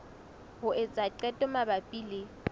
ho etsa qeto mabapi le